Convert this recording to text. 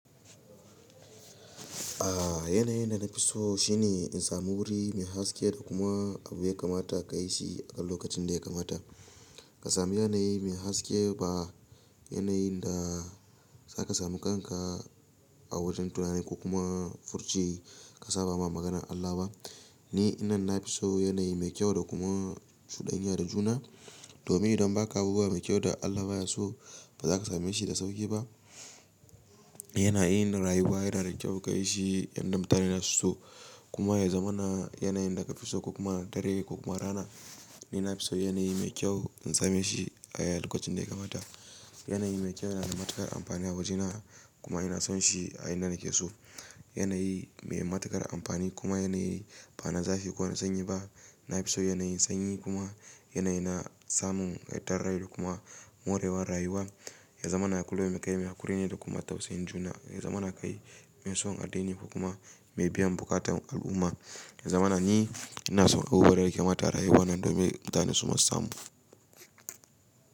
A yanayin da na fi so shine in sami wuri mai haske da kuma abu ya kamata ka yi shi a lokacin da ya kamata. Ka sami yanayi mai haske ba yanayin da za ka sami kanka a wajen tunani ko kuma furci ka saɓa ma maganar Allah ba. Ni nan na fi so yanayi mai kyau da kuma cuɗanya da juna. Domin idan ba ka abuwa mai kyau da Allah baya so, ba za ka same shi da sauƙi ba. Yanayi na rayuwa yana da kyau ka yi shi inda mutane suna so kuma ya zama na yanayin da ka fi so ko kuma dare ko kuma rana. Ni na fi so yanayi mai kyau in same shi a lokacin da ya kamata. Yanayi mai kyau yana da matuƙar amfani a wajena kuma ina son shi a ina nake so. Yanayi mai matuƙar amfani kuma yanayi ba na zafi ko na sanyi ba. Na fi so yanayin sanyi kuma yanayi na samun ƙayatar rai da kuma morewar rayuwa. Ya zama na kullum ƙayi, mai hakuri ne da kuma tausayin juna. Ya zama na kai mai son addini ko kuma mai biyan buƙatan al'umma. In zamana ni inason kowa da ya kamata a rayuwan domin in gane su kuma su samu.